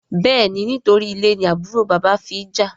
béèni nítorí ilè ni àbúrò bàbá fí jà.